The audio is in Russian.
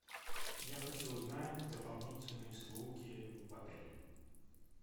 я хочу узнать дополнительные услуги в отеле